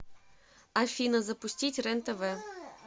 афина запустить рен тв